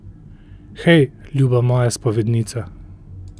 Hej, ljuba moja spovednica.